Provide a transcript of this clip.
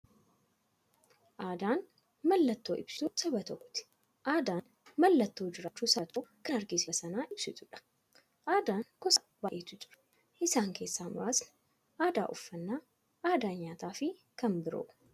Aadaan mallattoo ibsituu saba tokkooti. Aadaan mallattoo jiraachuu saba tokkoo kan agarsiistufi addunyyaatti dabarsitee waa'ee saba sanaa ibsituudha. Aadaan gosa baay'eetu jira. Isaan keessaa muraasni aadaa, uffannaa aadaa nyaataafi kan biroo.